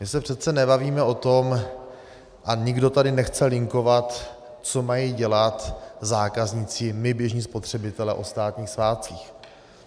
My se přece nebavíme o tom a nikdo tady nechce linkovat, co mají dělat zákazníci, my běžní spotřebitelé, o státních svátcích.